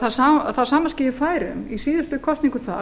það sama skeði í færeyjum í síðustu kosningum þar